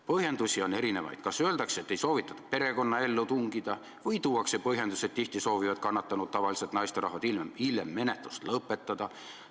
Põhjendusi on erinevaid: kas öeldakse, et ei soovitud perekonnaellu tungida, või tuuakse põhjendus, et tihti soovivad kannatanud, tavaliselt naisterahvad, hiljem menetlust lõpetada.